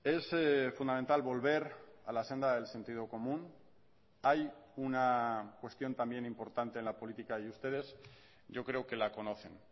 es fundamental volver a la senda del sentido común hay una cuestión también importante en la política y ustedes yo creo que la conocen